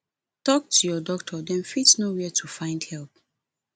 tok to your doctor dem fit know where to find help